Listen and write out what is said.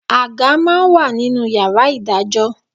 Àga máa ń wà nínú ìyá Ìdájọ́